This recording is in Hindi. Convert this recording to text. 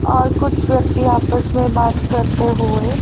और कुछ व्यक्ति आपस में बात करते हुए--